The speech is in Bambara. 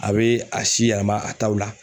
A bɛ a si yɛlɛma a taw la.